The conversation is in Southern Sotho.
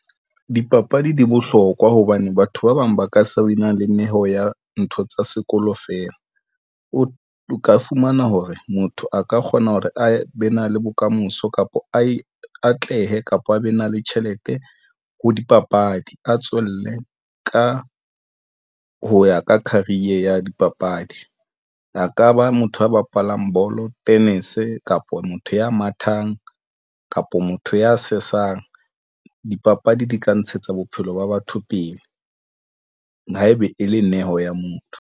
Dipapadi di bohlokwa hobane batho ba bang ba ka se win-ang le neo ya ntho tsa sekolo feela. O ka fumana hore motho a ka kgona hore a be na le bokamoso kapa a e atlehe kapa a be na le tjhelete ho dipapadi a tswelle. Ka ho ya ka career ya dipapadi a ka ba motho a bapalang bolo, tennis kapa motho ya mathang kapa motho ya sesang dipapadi di ka ntshetsa bophelo ba batho pele haebe e le neo ya motho.